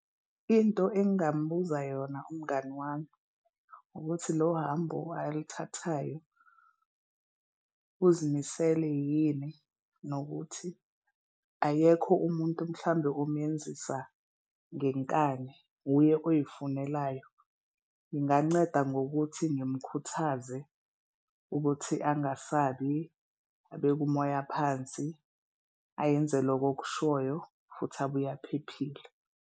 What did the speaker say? Into engingambuza yona umngani wami ukuthi lohambo alithathayo uzimisele yini nokuthi akekho umuntu mhlawumbe omenzisa ngenkani, wuye ozifunelayo. Nginganceda ngokuthi ngimukhuthaze ukuthi angasabi, abeke umoya phansi, ayenze loku okushwoywo futhi abuye aphephile.